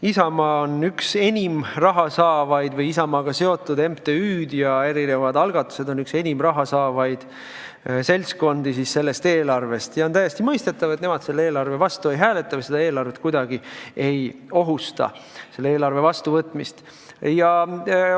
Isamaa või Isamaaga seotud MTÜ-d ja erinevad algatused on üks enim raha saavaid seltskondi sellest eelarvest ja on täiesti mõistetav, et nemad selle eelarve vastu ei hääleta või kuidagi ei ohusta selle vastuvõtmist.